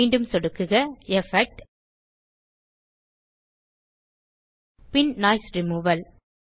மீண்டும் கிளிக் செய்க எஃபெக்ட் ஜிடிஜிடி பின் நோய்ஸ் ரிமூவல்